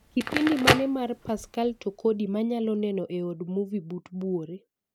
Kipindi mane mar Pascal Tokodi manyalo neno e od movie but buore?